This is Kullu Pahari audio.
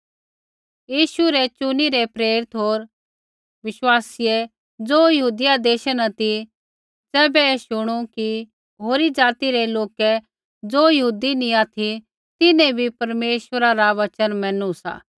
यीशु रै चुनीरै प्रेरित होर विश्वासीयै ज़ो यहूदिया देशा न ती ज़ैबै ऐ शुणू कि होरी ज़ाति रै लोकै ज़ो यहूदी नी ऑथि तिन्हैं बी परमेश्वरा रा वचन मैनू सा